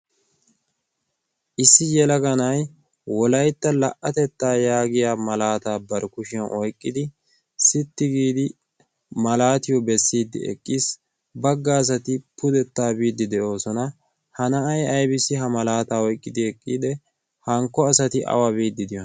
issi yelaganay wolaytta laa'atettaa yaagiya malaataa barkkushiyan oiqqidi sitti giidi malaatiyo bessiiddi eqqiis. bagga asati pudettaa biiddi de'oosona. ha na'ay bes. ha malaataa oyqqidi eqqide hankko asati awa biiddi de'oosona.